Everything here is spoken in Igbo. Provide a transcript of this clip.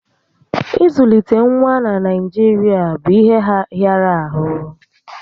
Ị zụlite nwa na Naijirịa bụ ihe hịara ahụ